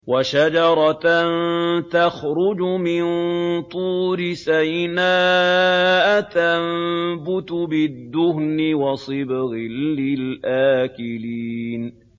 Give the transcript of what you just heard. وَشَجَرَةً تَخْرُجُ مِن طُورِ سَيْنَاءَ تَنبُتُ بِالدُّهْنِ وَصِبْغٍ لِّلْآكِلِينَ